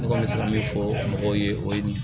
Ne kɔni bɛ se ka min fɔ mɔgɔw ye o ye